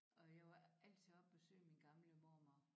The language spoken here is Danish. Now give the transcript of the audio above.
Og jeg var altid oppe og besøge min gamle mormor